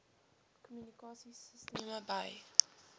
kommunikasie sisteme by